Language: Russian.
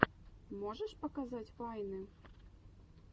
можешь показать вайны